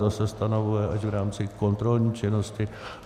Ta se stanovuje až v rámci kontrolní činnosti.